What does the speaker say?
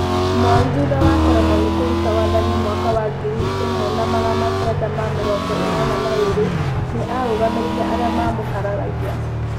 Moi, thutha wa kũremwo nĩ kũruta wathani mwaka wa ngiri ĩmwe na magana kenda ma mĩrongo ĩnana na ĩrĩ, nĩ aarũgamĩrĩire arĩa maamũkararagia.